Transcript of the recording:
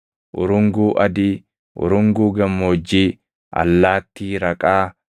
urunguu adii, urunguu gammoojjii, allaattii raqaa,